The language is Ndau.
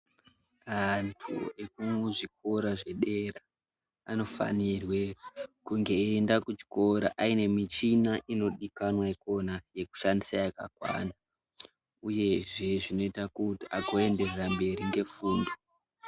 Antu ekuzvikora zvedera anofanirwe kunge eienda kuchikora aine michina inodikanwa ikona yekushandisa yakakwana uyezve zvinoita kuti akuendera mberi ngefundo